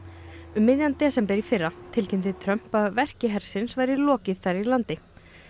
um miðjan desember í fyrra tilkynnti Trump að verki hersins væri lokið þar í landi